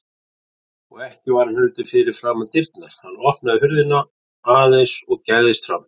Og ekki var hann heldur fyrir framan dyrnar, hann opnaði hurðina aðeins og gægðist fram.